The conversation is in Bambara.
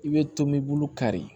I bɛ tomɛbulu kari